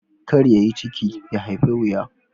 Kar ya yi ciki, ya haifa wuya